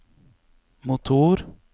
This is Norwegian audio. motor